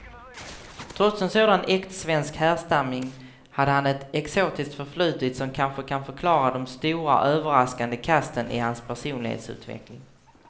Trots en sådan äktsvensk härstamning hade han ett exotiskt förflutet som kanske kan förklara de stora, överraskande kasten i hans personlighetsutveckling.